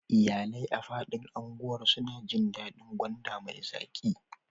Iyalai a faɗin unguwar suna jin daɗin gwanda mai zaƙi